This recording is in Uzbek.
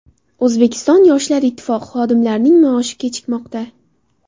O‘zbekiston Yoshlar Ittifoqi xodimlarining maoshi kechikmoqda.